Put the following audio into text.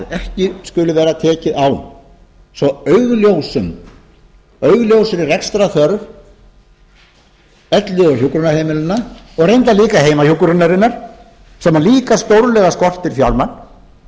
ekki skuli vera tekið á svo augljós rekstrarþörf elli og hjúkrunarheimilanna og reyndar líka heimahjúkrunarinnar sem líka stórlega skortir fjármagn að það